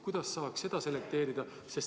Kuidas saaks seda selekteerida?